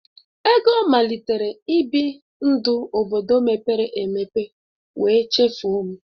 Ego malitere ibi ndụ obodo mepere emepe wee chefuo m